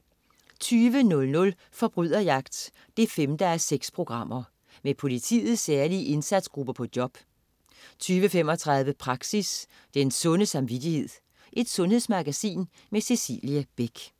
20.00 Forbryderjagt 5:6. Med politiets særlige indsatsgrupper på job 20.35 Praxis: Den sunde samvittighed. Sundhedsmagasin med Cecilie Beck